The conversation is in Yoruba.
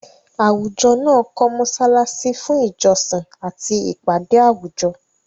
Àwùjọ náà kọ́ mọ́ṣáláṣí fún ìjọsìn àti ìpàdé àwùjọ.